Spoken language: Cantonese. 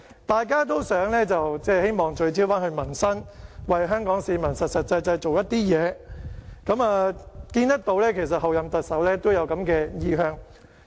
大家都希望聚焦民生，為香港市民實際做點事情，我們看到候任特首都有這個意向。